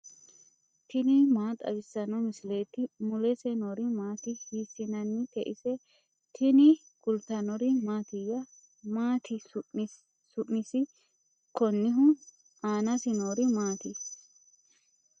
tini maa xawissanno misileeti ? mulese noori maati ? hiissinannite ise ? tini kultannori mattiya? Maati su'misi konihu? aanasi noori maatti?